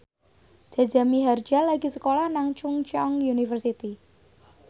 Jaja Mihardja lagi sekolah nang Chungceong University